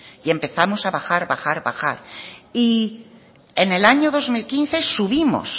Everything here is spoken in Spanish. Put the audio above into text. y empezamos a bajar bajar y bajar y en el año dos mil quince subimos